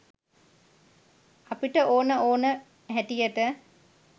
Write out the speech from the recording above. අපිට ඕන ඕන හැටියට